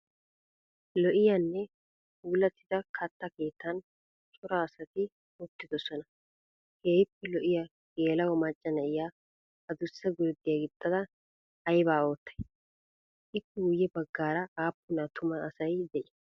Lo'iyaanne puulattida katta keettan cora asayi uttidosan keehippe lo'iyaa geela'o macca na'iyaa adussa gurddiyaa gixxada ayibaa oottay? Ippe guyye baggaara aappun attuma asayi de'ii?